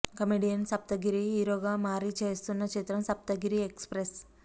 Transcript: comedian Saptagiri hero గా మారి చేస్తున్న చిత్రం సప్తగిరి ఎక్స్ ప్రెస్